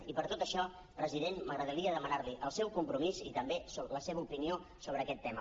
i per tot això president m’agradaria demanar li el seu compromís i també la seva opinió sobre aquest tema